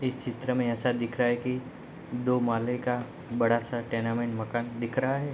इस चित्र में ऐसा दिख रहा है की दो माले का बड़ा सा टेनमेंट मकान दिख रहा है।